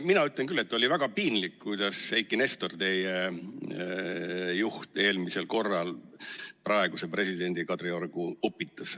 Mina ütlen küll, et oli väga piinlik, kuidas Eiki Nestor, teie juht, eelmistel valimistel praeguse presidendi Kadriorgu upitas.